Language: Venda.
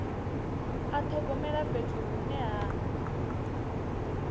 a thogomela fhethu hune ha